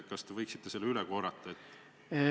Kas te võiksite seda täpsustada?